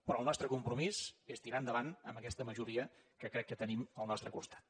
però el nostre compromís és tirar endavant amb aquesta majoria que crec que tenim al nostre costat